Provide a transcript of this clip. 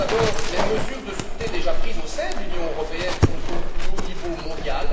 Tout d'abord, les mesures de sûreté déjà prises au sein de l'Union européenne sont au plus haut niveau mondial.